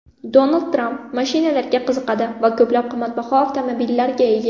Donald Tramp mashinalarga qiziqadi va ko‘plab qimmatbaho avtomobillarga ega.